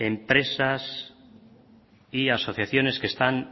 empresas y asociaciones que están